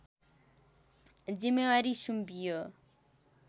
जिम्मेवारी सुम्पियो